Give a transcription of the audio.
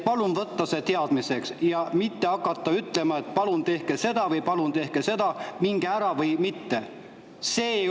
Palun võtta see teadmiseks ja ärge hakake ütlema, et palun tehke seda või palun tehke seda, minge ära või.